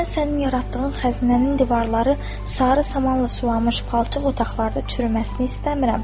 Mən sənin yaratdığın xəzinənin divarları sarı samanla suvaxmış palçıq otaqlarda çürüməsini istəmirəm.